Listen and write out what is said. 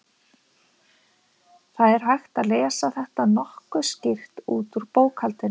Það er hægt að lesa þetta nokkuð skýrt út úr bókhaldinu.